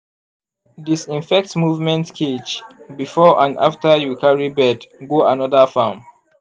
disinfect movement cage before and after you carry bird go another farm.